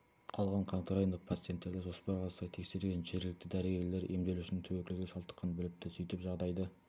қалған қаңтар айында пациенттерді жоспарға сай тексерген жергілікті дәрігерлер емделушінің туберкулезге шалдыққанын біліпті сөйтіп жағдайды